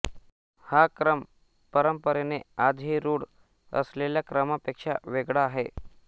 हा क्रम परंपरेने आजही रूढ असलेल्या क्रमापेक्षा वेगळा आहे